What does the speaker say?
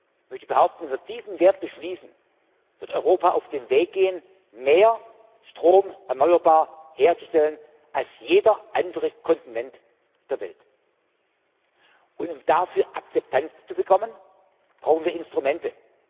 Ich möchte behaupten, wenn wir diesen Wert beschließen, wird Europa auf den Weg gehen, mehr Storm erneuerbar herzustellen als jeder andere Kontinent der Welt. Um dafür Akzeptanz zu bekommen, brauchen wir Instrumente.